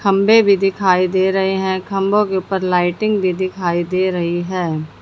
खंबे भी दिखाई दे रहे हैं खंबो के ऊपर लाइटिंग भी दिखाई दे रही है।